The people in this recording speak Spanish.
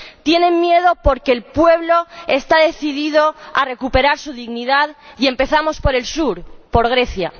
Tienen miedo porque el pueblo está decidido a recuperar su dignidad. Y empezamos por el sur, por Grecia.